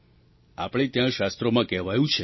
આપણે ત્યાં શાસ્ત્રોમાં કહેવાયું છે